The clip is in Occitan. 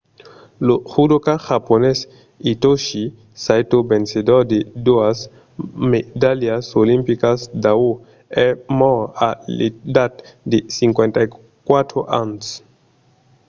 lo judoka japonés hitoshi saito vencedor de doas medalhas olimpicas d'aur es mòrt a l'edat de 54 ans